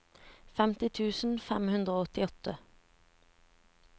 femti tusen fem hundre og åttiåtte